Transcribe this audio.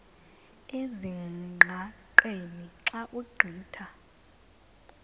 ezingqaqeni xa ugqitha